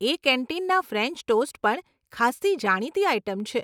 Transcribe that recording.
એ કેન્ટીનના french toast પણ ખાસ્સી જાણીતી આઇટમ છે.